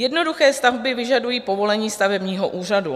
Jednoduché stavby vyžadují povolení stavebního úřadu.